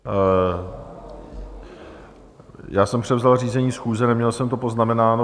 Já jsem převzal řízení schůze, neměl jsem to poznamenáno.